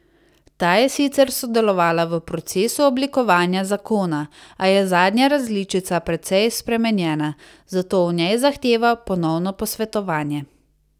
Ta je sicer sodelovala v procesu oblikovanja zakona, a je zadnja različica precej spremenjena, zato o njej zahteva ponovno posvetovanje.